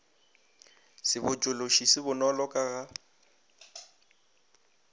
sebotšološi se bonolo ka ga